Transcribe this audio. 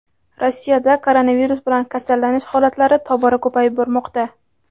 Rossiyada koronavirus bilan kasallanish holatlari tobora ko‘payib bormoqda.